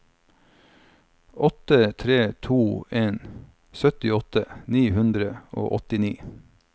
åtte tre to en syttiåtte ni hundre og åttini